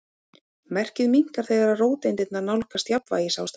Merkið minnkar þegar róteindirnar nálgast jafnvægisástand.